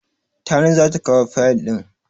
Tani za ta kawo fayil ɗin.